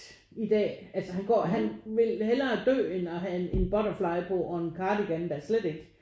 I dag altså han går han vil hellere dø end at have en butterfly på og en cardigan da slet ikke